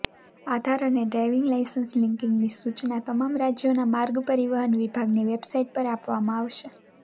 આધાર અને driving licence લિંકિંગની સૂચના તમામ રાજ્યોના માર્ગ પરિવહન વિભાગની વેબસાઇટ પર આપવામાં આવશે